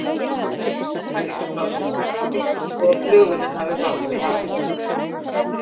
Senditækin senda líka frá sér merki þó að flugvélin hafi hrapað í hafið.